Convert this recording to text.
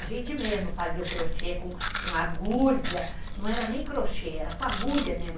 A gente mesmo fazia o crochê com com agulha, não era nem crochê, era com agulha mesmo.